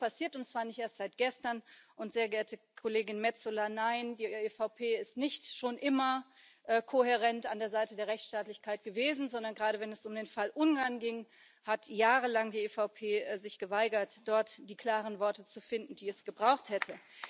Genau das ist passiert, und zwar nicht erst seit gestern, und, sehr geehrte Kollegin Metsola, nein, die EVP ist nicht schon immer kohärent an der Seite der Rechtsstaatlichkeit gewesen, sondern gerade wenn es um den Fall Ungarn ging, hat sich die EVP jahrelang geweigert, dort die klaren Worte zu finden, die es gebraucht hätte.